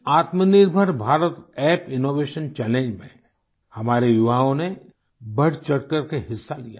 इस Aatmanirbhar Bharat app innovation challenge में हमारे युवाओं ने बढ़चढ़कर के हिस्सा लिया